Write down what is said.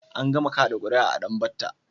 An gama kaɗa ƙura'a a Danbatta.